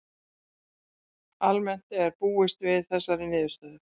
Almennt var búist við þessari niðurstöðu